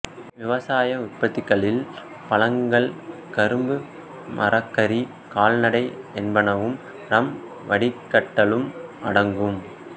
விவசாய உற்பத்திகளில் பழங்கள் கரும்பு மரக்கரி கால்நடை என்பனவும் ரம் வடிக்கட்டலும் அடங்கும்